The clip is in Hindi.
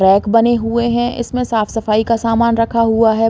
रैक बने हुए हैं। इसमें साफ़ सफाई का समान रखा हुआ है।